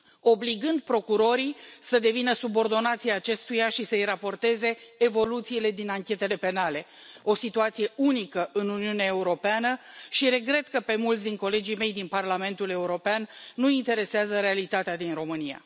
obligând procurorii să devină subordonații acestuia și să îi raporteze evoluțiile din anchetele penale, o situație unică în Uniunea Europeană și regret că pe mulți din colegii mei din Parlamentul European nu îi interesează realitatea din România.